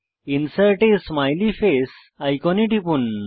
insert a smiley face আইকনে টিপুন